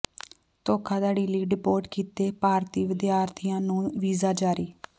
ਧੋਖਾਧੜੀ ਲਈ ਡਿਪੋਰਟ ਕੀਤੇ ਭਾਰਤੀ ਵਿਦਿਆਰਥੀਆਂ ਨੂੰ ਵੀਜ਼ਾ ਜਾਰੀ